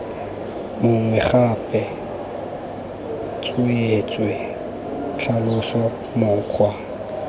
mongwe gape tsweetswee tlhalosa mokgwa